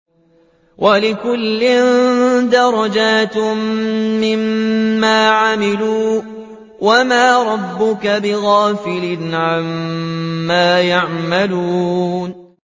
وَلِكُلٍّ دَرَجَاتٌ مِّمَّا عَمِلُوا ۚ وَمَا رَبُّكَ بِغَافِلٍ عَمَّا يَعْمَلُونَ